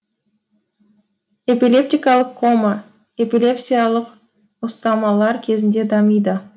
эпилептикалық кома эпилепсиялық ұстамалар кезінде дамиды